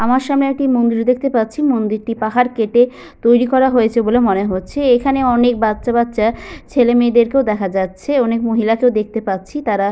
আমার সামনে একটি মন্দির দেখতে পাচ্ছি। মন্দিরটি পাহাড় কেটে তৈরী করা হয়েছে বলে মনে হচ্ছে। এখানে অনেক বাচ্চা বাচ্চা ছেলে মেয়েদের কেও দেখা যাচ্ছে অনেক মহিলা কেও দেখতে পাচ্ছি। তারা --